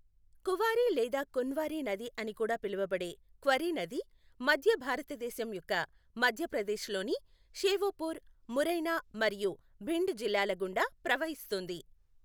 కువారి లేదా కున్వారి నది అని కూడా పిలువబడే క్వరీ నది, మధ్య భారతదేశం యొక్క మధ్యప్రదేశ్లోని షెఓపూర్, మురైనా మరియు భిండ్ జిల్లాల గుండా ప్రవహిస్తుంది.